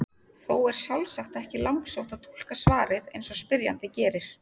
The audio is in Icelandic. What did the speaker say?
Þó er sjálfsagt ekki langsótt að túlka svarið eins og spyrjandi gerir.